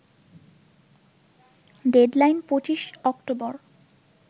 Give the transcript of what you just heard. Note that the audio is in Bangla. deadline ২৫ October